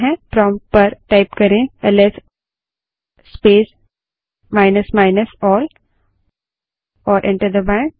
prompt पर LS space minus minus all type करें और एंटर दबायें